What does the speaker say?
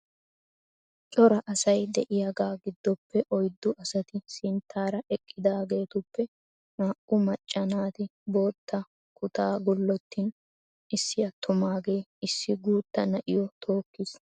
Cora asay de'iyaga giddoppe oyddu asati sinttaara eqqidaageetuppe naa"u macca naati bootta kutaa gullotin issi attumagee issi guuttaa na'iyo tookkiis.